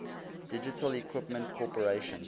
digital equipment corporation